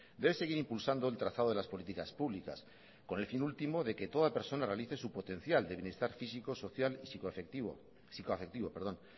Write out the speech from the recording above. debe seguir impulsando el trazado de las políticas públicas con el fin último de que toda persona realice su potencial de bienestar físico social y psicoafectivo a lo largo de todo su ciclo social y psicoafectivo